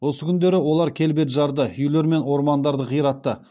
осы күндері олар кельбеджарды үйлер мен ормандарды қиратты